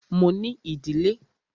Mo ní ìdílé.